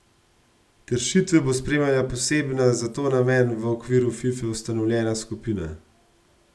Kršitve bo spremljala posebna za ta namen v okviru Fife ustanovljena skupina.